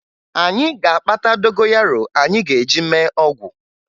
Anyị ga-akpata dogoyaro anyị ga-eji mee ọgwụ